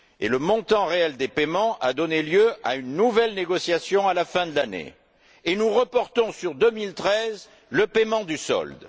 le montant réel des paiements a donné lieu à une nouvelle négociation à la fin de l'année et nous reportons sur 2013 le paiement du solde.